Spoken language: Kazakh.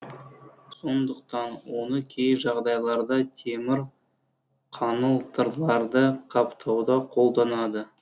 сондықтан оны кей жағдайларда темір қаңылтырларды қаптауда қолданады